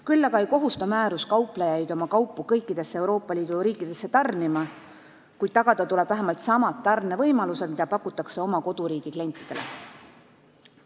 Küll aga ei kohusta määrus kauplejaid oma kaupu kõikidesse Euroopa Liidu riikidesse tarnima, kuid tagada tuleb vähemalt samad tarnevõimalused, mida pakutakse oma koduriigi klientidele.